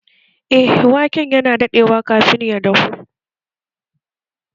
Eh, waken yana daɗewa kafin ya dahu